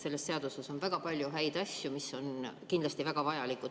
Selles seaduses on väga palju häid asju, mis on kindlasti väga vajalikud.